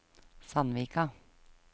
Sandvika